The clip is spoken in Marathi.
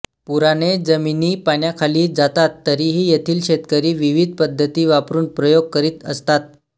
पुराने जमिनी पाण्याखाली जातात तरीही येथील शेतकरी विविध पद्धती वापरून प्रयोग करीत असतात